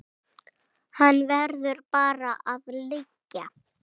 Hann verður bara að liggja.